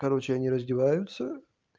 короче они раздеваются